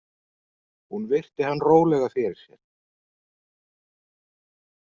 Hún virti hann rólega fyrir sér.